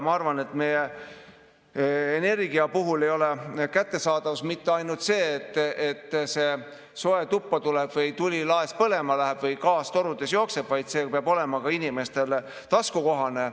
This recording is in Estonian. Ma arvan, et meie energia puhul ei kättesaadavus mitte ainult seda, et soe tuppa tuleb, tuli laes põlema läheb või gaas torudes jookseb, vaid see peab olema inimestele ka taskukohane.